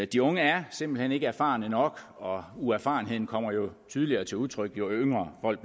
de unge er simpelt hen ikke erfarne nok og uerfarenheden kommer jo tydeligere til udtryk jo yngre folk